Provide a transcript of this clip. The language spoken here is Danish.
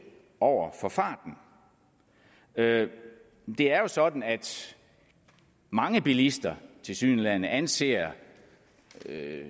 over for farten det er jo sådan at mange bilister tilsyneladende anser